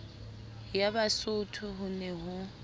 ya basotho ho ne ho